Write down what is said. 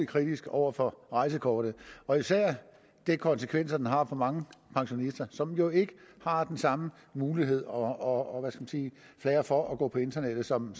kritisk over for rejsekortet og især de konsekvenser som det har for mange pensionister som jo ikke har den samme mulighed og flair for at gå på internettet som